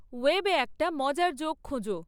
ওয়েবে একটা মজার জোক খোঁজো